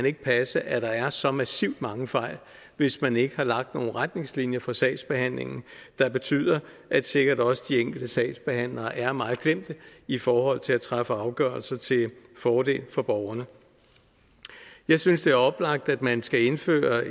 ikke passe at der er så massivt mange fejl hvis man ikke har lagt nogle retningslinjer for sagsbehandlingen der betyder at sikkert også de enkelte sagsbehandlere er meget klemte i forhold til at træffe afgørelser til fordel for borgerne jeg synes det er oplagt at man skal indføre